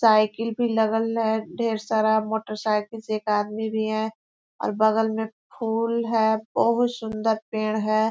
Cycle भी लगल है ढेर सारा मोटर साइकिल से एक आदमी भी है और बगल में फुल है बहुत सुंदर पेड़ है।